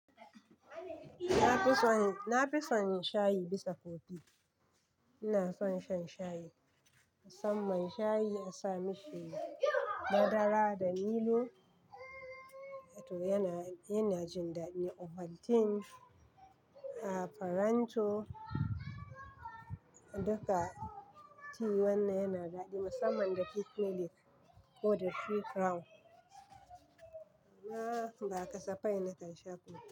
Na fi son shayi bisa kofi. Ina son shan shayi. Musamman shayi, in sa mishi madara da milo. To yana, yana jin daɗi. Ovaltine, aa Faranto, duka ti wanna yana daɗi. Musamman da pikmilik, ko da three crown. Na ba kasafai nake shan kofi.